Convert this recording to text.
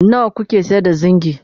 nawa kuke sayar da zingi?